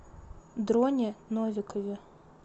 дроне новикове